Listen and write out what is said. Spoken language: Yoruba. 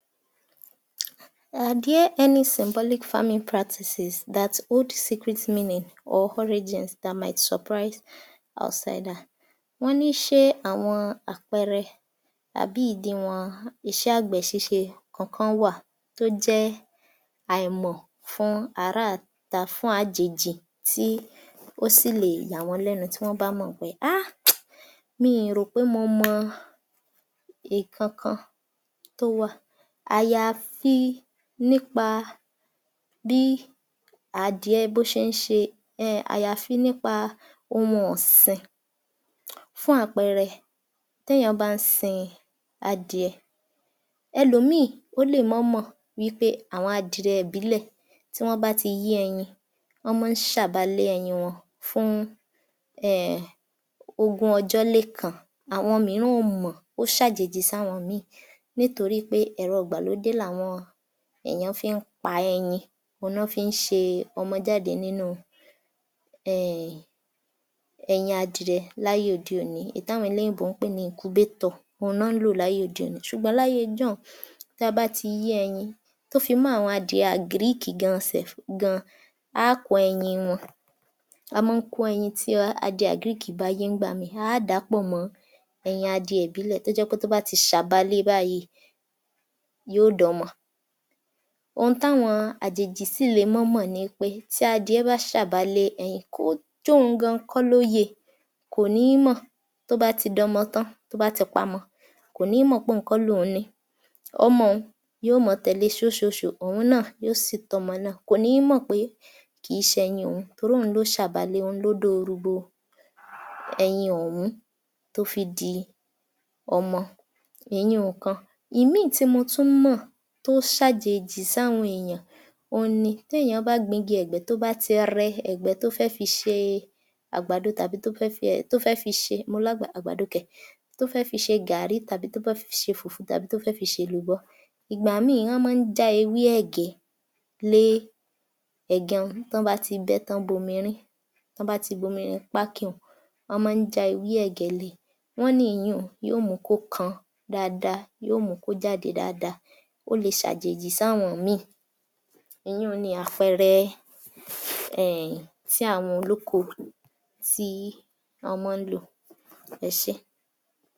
Are there any symbolic farming practices that hold secret meaning or origins that might surprise outsiders? Wọ́n ní ṣé àwọn àpẹẹrẹ àbí ìdìwọ̀n iṣẹ́ àgbẹ̀ ṣíṣe kankan wà tí ó jẹ́ àìmọ̀ fún ará ìta fún àjèjì tí ó sì lè yà wọ́n lẹ́nu tí wọ́n bá mọ̀. Háà! Mi ò rò pé mo mọ ìkankan tó wà àyàfi nípa bí adìẹ ṣe ń ṣe ẹẹ̀ẹ̀ àyàfi nípa ohun ọ̀sìn, fún àpẹẹrẹ: tí èèyàn bá ń sin adìẹ, ẹlòmíì ó lè má mọ̀ wí pé bí àwọn adìẹ ìbílẹ̀ tí wọ́n bá ti yé ẹyin wọ́n máa ṣàba lé ẹyin wọn fún ẹẹ̀ẹ̀ ogún-ọjọ́-lé-kan, àwọn mìíràn ò mọ̀, ó ṣàjèjì sí àwọn mìín-ìn nítorí pé ẹ̀rọ ìgbàlódé làwọn èèyàn fi ń pa ẹyin, òhun ni wọ́n fi ń ṣe ọmọ jáde nínú ẹẹ̀ẹ̀ ẹyin adìẹ láyé òde òní èyí tí àwọn olóyìnbó ń pè ní incubator òhun ni wọ́n ń lò ní ayé òde òní ṣùgbọ́n ní ayé ijọ́hun tí a bá ti yé ẹyin to fi mọ́ àwọn adìẹ àgìríìkì gan self gan, a á kó ẹyin wọn, a mọ́ ń kó ẹyin tí adìẹ àgìríìkì bá yé ńgbà mìín-ìn, a á dà á pọ̀ mọ́ ẹyin adìẹ ìbílẹ̀ tó jẹ́ pé bí ó bá ti ṣàba lé e báyìí yóò dọmọ. Ohun táwọn àjèjì ṣì lè má mọ̀ ni pé tí adìẹ bá ṣàba lé ẹyin kó jóun gan kọ́ ló yé e kò ní mọ̀ tó bá ti dọmọ tán tó bá ti pamọ kò ní mọ̀ pé òun kọ́ ni òun ni ín, ọmọ n yóò máa tèle ṣóóṣòóṣòó, òun náà yóò sì tọ́ ọmọ náà kò ní mọ̀ pé kìí ṣe ẹ̀yin òun torí òun ni ó ṣàba lé e, òun ló dóorú bo ẹyin ọ̀hún tó fi di ọmọ, ìyun-ùn ìkan. Ìmín-ìn tí mo tún mọ̀, tó ṣàjèjì sáwọn èèyàn, òun ni tí èèyàn bá gbin igi ẹ̀gbẹ́, tó bá ti rẹ ẹ̀gbẹ́ tó fẹ́ fi ṣe àgbàdo tàbí tó fẹ́ fi ẹẹ̀ tó fẹ́ fi ṣe mo lágbàdo, àgbàdo kẹ̀, tó fẹ́ fi ṣe gààrí tàbí tó bẹ́ fi ṣe fùfú tàbí tó fẹ́ fi ṣe èlùbọ́, ìgbà míì wọ́n máa ń já ewé ẹ̀gẹ́ lé ẹ̀gan ń tàn bá ti bẹ́, tí wọ́n bomi rín, tán bá ti bomi rin pákí n wọ́n máa ń já ewé ẹ̀gẹ́ lé e, wọ́n ní ìyun-ùn yóò mún un kó kan dáadáa yóò mú un kó jáde dáadáa. Ó le ṣe ṣàjèjì sí àwọn mìín-ìn. Ìyun-ùn ni àpẹẹrẹ ẹẹ̀ẹ̀ tí àwọn olóko tí wọ́n máa ń lò. Ẹ ṣé.